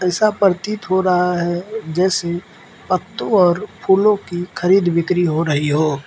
ऐसा परतित हो रहा है जैसे पत्तों और फूलों की खरीद बिक्री हो रही हो --